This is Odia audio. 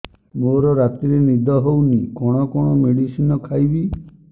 ମୋର ରାତିରେ ନିଦ ହଉନି କଣ କଣ ମେଡିସିନ ଖାଇବି